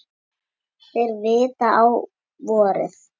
Þeir vita á vorið.